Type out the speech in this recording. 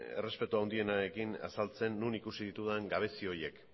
errespetu handienarekin azaltzen non ikusi ditudan gabezi horiek